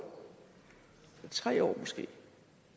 tre år måske